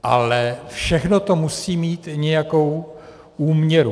Ale všechno to musí mít nějakou úměru.